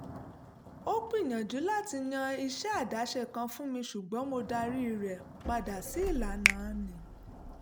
ó gbìyànjú láti yan iṣẹ́ àdáṣe kan fún mi ṣùgbọ́n mo darí rẹ̀ padà sí ìlànà hr